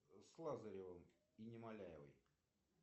с лазаревым и немоляевой